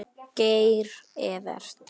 Geir Evert.